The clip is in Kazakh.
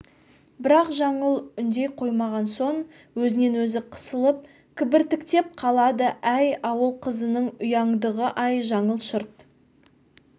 бірақ жаңыл үндей қоймаған соң өзінен өзі қысылып кібіртіктеп қалады әй ауыл қызының ұяңдығы-ай жаңыл шырт